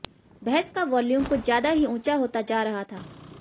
बहस का वॉल्यूम कुछ ज्यादा ही ऊंचा होता जा रहा था